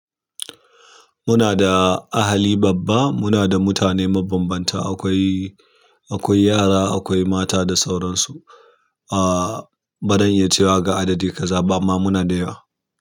Muna da ahali babba, muna da mutane mabambanta, akwai, akwai yara, akwai mata da sauransu. Aa bazan iya cewa ga adadi kaza ba amma muna da yawa.